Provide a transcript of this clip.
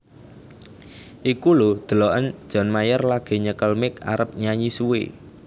Iku lho deloken John Mayer lagi nyekel mic arep nyanyi suwe